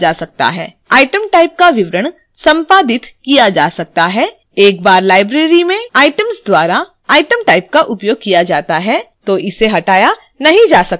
item type का विवरण संपादित किया जा सकता है एक बार library में items द्वारा item type का उपयोग किया जाता है तो इसे हटाया नहीं जा सकता है